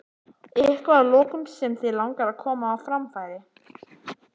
Eitthvað að lokum sem þig langar að koma á framfæri?